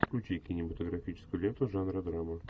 включи кинематографическую ленту жанра драма